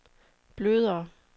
blødere